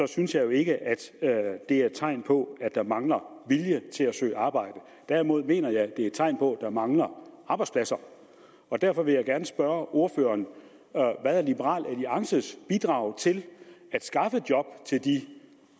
synes jeg ikke at det er tegn på at der mangler vilje til at søge arbejde derimod mener jeg at det er et tegn på at der mangler arbejdspladser derfor vil jeg gerne spørge ordføreren hvad er liberal alliances bidrag til at skaffe job til de